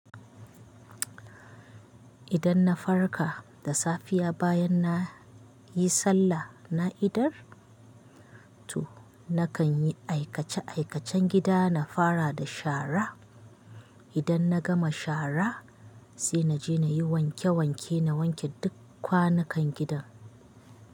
Idan na farka da safiya bayan na yi sallah na idar, to nakan yi aikace- aikacen gida, na fara da shara. Idan na gama shara, sai na je na yi wanke-wanke, na wanke duk kwanukan gidan.